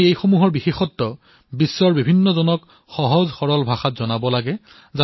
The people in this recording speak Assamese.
আমি ইয়াৰ গুণসমূহ বিশ্বৰ লোকসকলক সহজ আৰু সৰল ভাষাত বুজাব লাগে